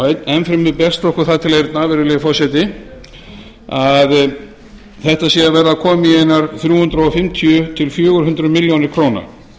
okkur það til eyrna virðulegi forseti að þetta sé að verða komið í einar þrjú hundruð fimmtíu til fjögur hundruð milljóna króna